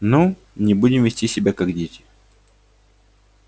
ну не будем вести себя как дети